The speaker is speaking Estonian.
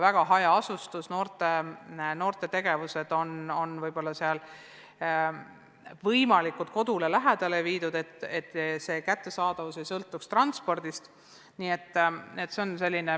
Hajaasustusega piirkondades on noorte tegevused võimalikult nende kodule lähedale viidud, et kättesaadavus ei sõltuks transpordist.